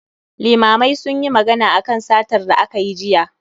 Limamai sunyi magana akan satar da aka yi jiya